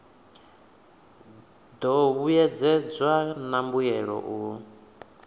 do vhuedzedzwa na mbuelo u